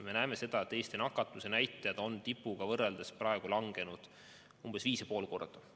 Me näeme, Eesti nakatumisnäitajad on tipuga võrreldes langenud 5,5 korda.